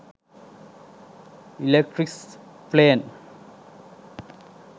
electrice plane